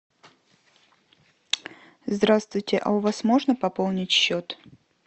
здравствуйте а у вас можно пополнить счет